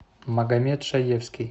магомед шаевский